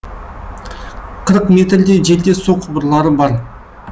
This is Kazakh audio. қырық метрдей жерде су құбырлары бар